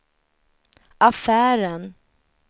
affären